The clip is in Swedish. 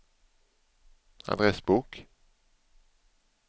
adressbok